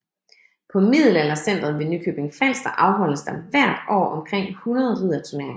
På Middelaldercentret ved Nykøbing Falster afholdes der hver år omkring 100 ridderturneringer